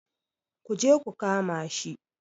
Ku je ku kama shi!